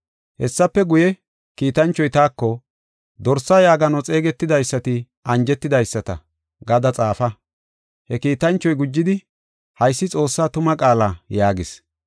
Hessafe guye, kiitanchoy taako, “Dorsa yaagano xeegetidaysati anjetidaysata” gada xaafa. He kiitanchoy gujidi, “Haysi Xoossaa tuma qaala” yaagis.